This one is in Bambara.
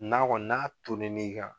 N'a Kɔni n'a tonni n'i kan